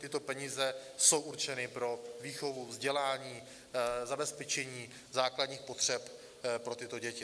Tyto peníze jsou určeny pro výchovu, vzdělání, zabezpečení základních potřeb pro tyto děti.